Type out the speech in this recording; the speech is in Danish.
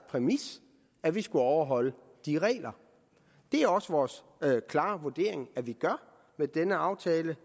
præmis at vi skulle overholde de regler det er også vores klare vurdering at vi med denne aftale